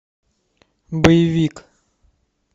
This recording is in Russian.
боевик